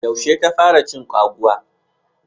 Yaushe ka fara cin kwaguwa.